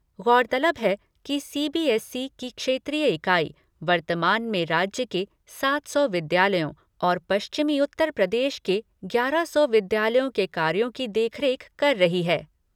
गौरतलब है कि सीबीएसई की क्षेत्रीय इकाई, वर्तमान में राज्य के सात सौ विद्यालयों और पश्चिमी उत्तर प्रदेश के ग्यारह सौ विद्यालयों के कार्यों की देखरेख कर रही है।